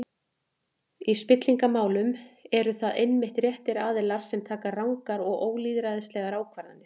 Í spillingarmálum eru það einmitt réttir aðilar sem taka rangar og ólýðræðislegar ákvarðanir.